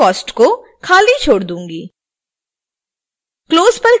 मैं shipping cost को खाली छोड़ दूंगी